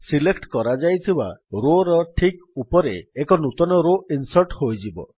select କରାଯାଇଥିବା Rowର ଠିକ୍ ଉପରେ ଏକ ନୂତନ ରୋ ଇନ୍ସର୍ଟ ହୋଇଯିବ